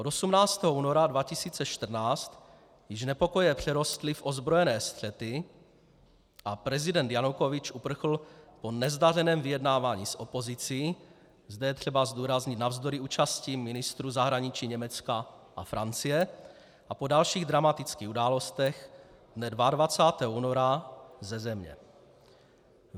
Od 18. února 2014 již nepokoje přerostly v ozbrojené střety a prezident Janukovyč uprchl po nezdařeném vyjednávání s opozicí - zde je třeba zdůraznit navzdory účasti ministrů zahraničí Německa a Francie - a po dalších dramatických událostech dne 22. února ze země.